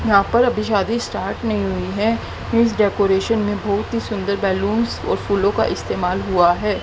यहां पर शादी अभी स्टार्ट नहीं हुई है इस डेकोरेशन में बहुत ही सुंदर बलूंस और फूलों का इस्तेमाल हुआ है।